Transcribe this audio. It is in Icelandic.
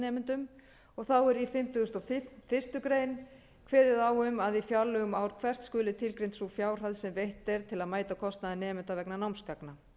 nemendum þá er í fimmtugasta og fyrstu grein kveðið á um að í fjárlögum ár hvert skuli tilgreind sú fjárhæð sem veitt er til að mæta kostnaði nemenda vegna námsgagna